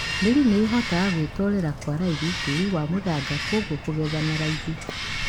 Mīri ni ihotaga gwitorīra kwa raithi tīri wa mūthanga kūoguo kūgetha na raithi.